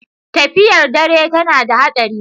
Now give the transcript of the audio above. Tafiyar dare tana da haɗari.